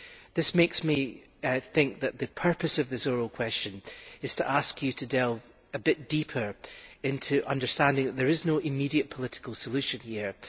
This makes me think that the purpose of this oral question is to ask you to delve a bit deeper into understanding that there is no immediate political solution here.